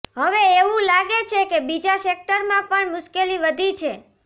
હવે એવું લાગે છે કે બીજા સેક્ટરમાં પણ મુશ્કેલી વધી છે